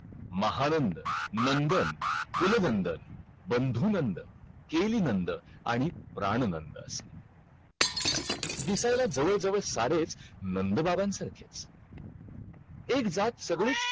नाहीतर science private असू शकते तिथे,